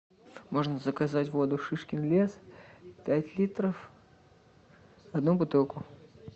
можно заказать воду шишкин лес пять литров одну бутылку